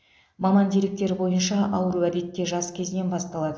маман деректері бойынша ауру әдетте жас кезінен басталады